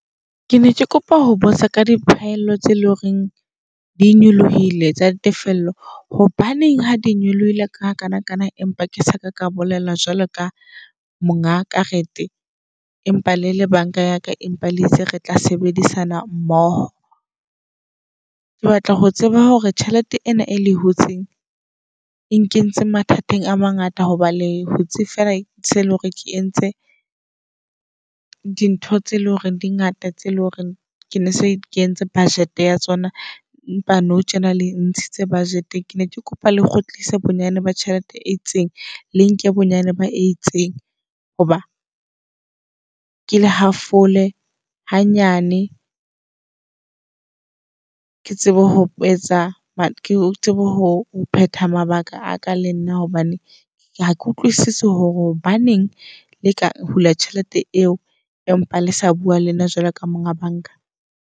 Ke ne ke kopa ho botsa ka diphaello tsee loreng di nyolohile tsa tefello. Hobaneng ha di nyolohile ka hakana kana, empa ke saka ka bolela jwalo ka monga karete empa le le bank-a yaka? Empa le itse re tla sebedisana mmoho. Ke batla ho tseba hore tjhelete ena e le hutsing e nkentse mathateng a mangata. Hoba le hutse fela tse leng hore ke entse dintho tse eleng hore di ngata tse eleng hore ke ne se ke entse budget ya tsona. Empa nou tjena le ntshitse budget. Ke ne ke kopa le kgutlise bonyane ba tjhelete e itseng le nke bonyane ba e itseng. Hoba ke le hafole hanyane, ke tsebe ho etsa ke tsebe ho phetha mabaka aka le nna. Hobane ha ke utlwisisi hore hobaneng le ka hula tjhelete eo empa le sa bua le nna jwalo ka monga banka.